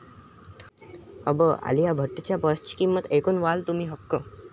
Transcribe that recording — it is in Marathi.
अबब...! आलिया भट्टच्या पर्सची किंमत ऐकून तुम्ही व्हाल थक्क